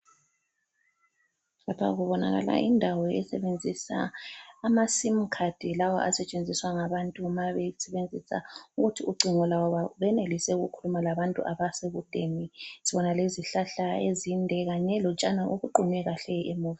Lapha kubonakala indawo esebenzisa ama SIM card lawa asetshenziswa ngabantu mabesebenzisa ukuthi ucingo lwabo benelise ukukhuluma labantu abasekudeni , sibona lezihlahla ezinde kanye lotshani obuqunywe kahle emuva